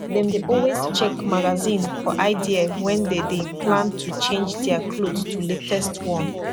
dem dey always check magazine for idea wen dem dey plan to change dia kloth to latest one